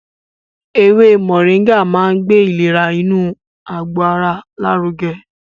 Ewé Mọ̀ríngà máa ń gbé ìlera inú àgbò ara lárugẹ